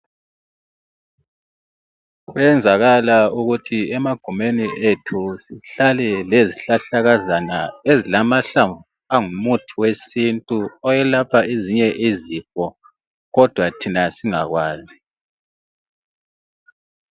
Kwenzakala ukuthi emagumeni ethu sihlale lezhlahlakazana ezilamahlamvu angumuthi wesintu ,owelapha ezinye izifo kodwa thina singakwazi.